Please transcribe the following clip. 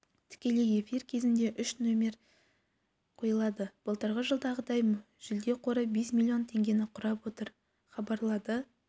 тікелей эфир кезінде үш нөмер қойылады былтырғы жылдағыдай жүлде қоры бес миллион теңгені құрап отыр хабарлады